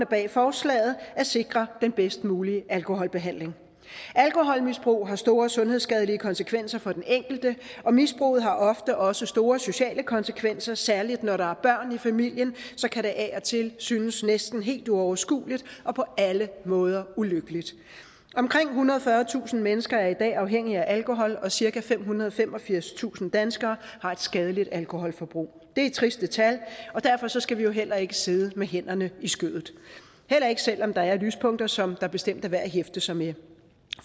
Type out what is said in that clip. bag forslaget at sikre den bedst mulige alkoholbehandling alkoholmisbrug har store sundhedsskadelige konsekvenser for den enkelte og misbruget har ofte også store sociale konsekvenser særlig når der er børn i familien kan det af og til synes næsten helt uoverskueligt og på alle måder ulykkeligt omkring ethundrede og fyrretusind mennesker er i dag er afhængige af alkohol og cirka femhundrede og femogfirstusind danskere har et skadeligt alkoholforbrug det er triste tal og derfor skal vi jo heller ikke sidde med hænderne i skødet heller ikke selv om der er lyspunkter som det bestemt er værd at hæfte sig ved